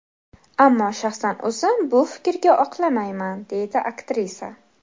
Ammo shaxsan o‘zim bu fikrga oqlamayman”, deydi aktrisa.